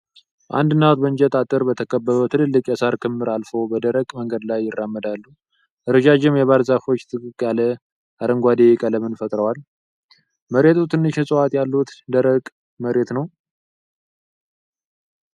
አንድ እናት በእንጨት አጥር በተከበበ ትላልቅ የሳር ክምር አልፈው በደረቅ መንገድ ላይ ይራመዳሉ። ረዣዥም የባህር ዛፎች ጥቅጥቅ ያለ አረንጓዴ ቀለምን ፈጥረዋል። መሬቱ ትንሽ እፅዋት ያሉት ደረቅ መሬት ነው።